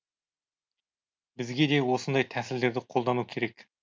бізге де осындай тәсілдерді қолдану керек